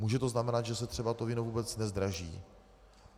Může to znamenat, že se třeba to víno vůbec nezdraží.